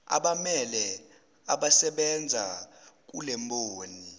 abammele abasebenza kulemboni